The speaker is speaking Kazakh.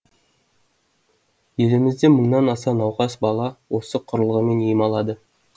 елімізде мыңнан аса науқас бала осы құрылғымен ем алады